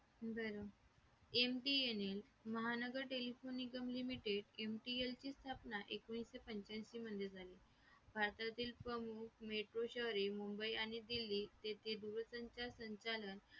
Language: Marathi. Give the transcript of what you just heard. बरं MTNL Mahanagar Telephone Nigam limited MTNL ची स्थापना एकोणीशेपंच्याऐशी मध्ये झाली भारतातील प्रमुख metro शहरे मुंबई आणि दिल्ली येथे दूरसंचार संचारण करण्यात आले